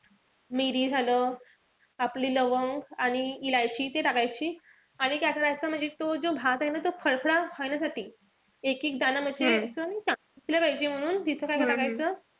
मिरी झालं, आपली लवंग आणि इलायची ते टाकायची. आणि काय करायचं म्हणजे तो जो भात ए ना खडखडा करण्यासाठी एकेक दाना म्हणजे असं नाई का दिसलं पाहिजे म्हणून तिथं काय टाकायचं.